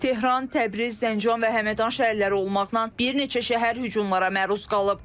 Tehran, Təbriz, Zəncan və Həmədan şəhərləri olmaqla bir neçə şəhər hücumlara məruz qalıb.